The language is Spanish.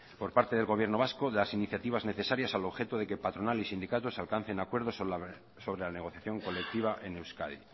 por parte del gobierno vasco de las iniciativas necesarias al objeto de que patronal y sindicatos alcancen acuerdos sobre la negociación colectiva en euskadi